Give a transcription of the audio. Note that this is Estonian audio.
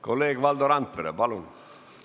Kolleeg Valdo Randpere, palun!